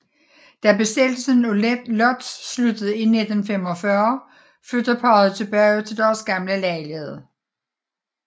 Da besættelsen af Lódz slutter i 1945 flytter parret tilbage til deres gamle lejlighed